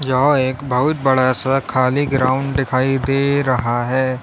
यह एक बहुत बड़ा सा खाली ग्राउंड दिखाई दे रहा है।